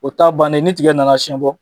O taa bannen, ni tiga nana siyɛn bɔ,